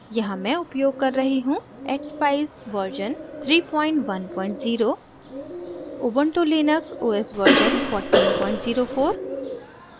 यहाँ मैं उपयोग कर रही हूँ expeyes version 310ubuntu linux os version 1404